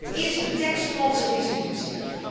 Dat is de tekst van onze resolutie.